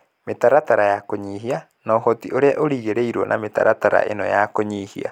mĩtaratara ya kũnyihia, na ũhoti ũrĩa ũrerĩgĩrĩrũo wa mĩtaratara ĩno ya kũnyihia.